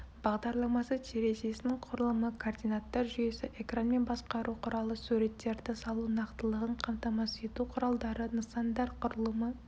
бағдарламасы терезесінің құрылымы координаттар жүйесі экранмен басқару құралы суреттерді салу нақтылығын қамтамасыз ету құралдары нысандар құрылымы